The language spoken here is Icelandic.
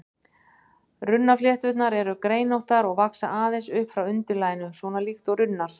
Runnaflétturnar eru greinóttar og vaxa aðeins upp frá undirlaginu, svona líkt og runnar.